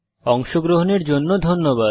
অংশগ্রহনের জন্য ধন্যবাদ